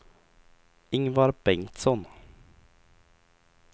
Ingvar Bengtsson